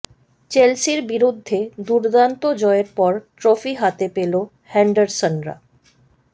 চেলসির বিরুদ্ধে দুর্দান্ত জয়ের পর ট্রফি হাতে পেল হেন্ডারসনরা